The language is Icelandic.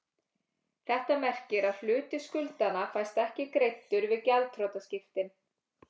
Þetta merkir að hluti skuldanna fæst ekki greiddur við gjaldþrotaskiptin.